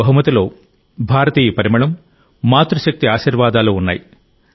ఈ బహుమతిలో భారతీయత పరిమళం మాతృ శక్తి ఆశీర్వాదాలు ఉన్నాయి